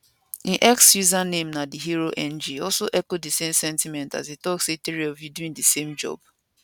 im x username na theherong also echo di same sentiment as e tok say three of you doing di same job